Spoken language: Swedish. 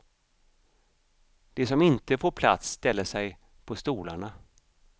De som inte får plats ställer sig på stolarna.